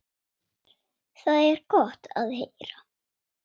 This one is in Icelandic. Það er gott að heyra.